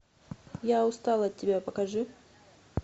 я устал от тебя покажи